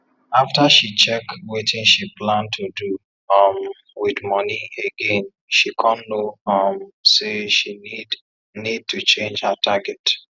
after she check watin she plan to do um with money again she come know um say she need need to change her target